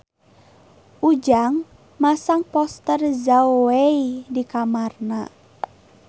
Ujang masang poster Zhao Wei di kamarna